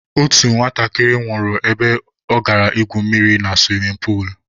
Otu nwatakịrị nwụrụ ebe ọ gara ígwù mmiri na suwimin puulu.